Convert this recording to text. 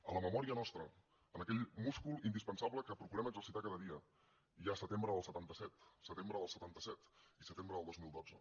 a la memòria nostra en aquell múscul indispensable que procurem exercitar cada dia hi ha setembre del setanta set setembre del setanta set i setembre del dos mil dotze